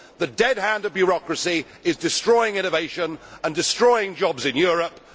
The dead hand of bureaucracy is destroying innovation and destroying jobs in Europe.